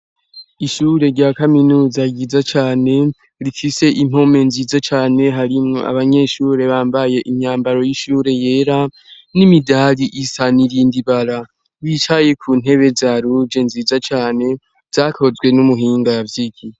Ishure rya kaminuza ryiza cane rikise impome nziza cane harimwo abanyeshure bambaye inyambaro y'ishure yera n'imidali isanairinda ibara wicaye ku ntebe za ruje nziza cane zakozwe n'umuhinga yavyoigi.